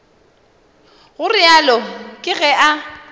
go realo ke ge a